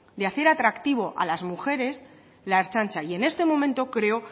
de hacer atractivo a las mujeres la ertzaintza y en este momento creo